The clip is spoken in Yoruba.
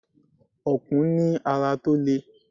Ọ̀kùn ní ara tó lè.